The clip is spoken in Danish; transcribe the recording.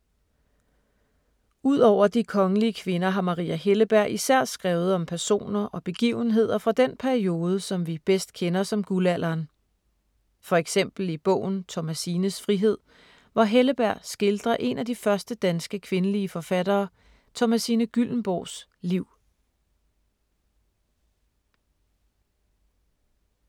Ud over de kongelige kvinder har Maria Helleberg især skrevet om personer og begivenheder fra den periode, som vi bedst kender som Guldalderen. For eksempel i bogen Thomasines frihed, hvor Helleberg skildrer en af de første danske kvindelige forfattere, Thomasine Gyllembourgs, liv.